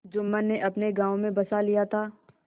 जुम्मन ने अपने गाँव में बसा लिया था